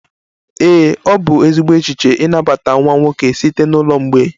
Ee, ọ bụ ezigbo echiche ịnabata nwa nwoke site na ụlọ mgbei